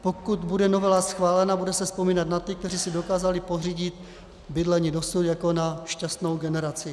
Pokud bude novela schválena, bude se vzpomínat na ty, kteří si dokázali pořídit bydlení dosud, jako na šťastnou generaci.